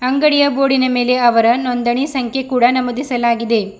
ಅಂಗಡಿಯ ಬೋರ್ಡಿನ ಮೇಲೆ ಅವರ ನೊಂದಣಿ ಸಂಖ್ಯೆ ಕೂಡ ನಮೂದಿಸಲಾಗಿದೆ.